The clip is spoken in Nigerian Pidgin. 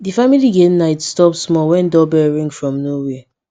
d family game night stop small when doorbell ring from nowhere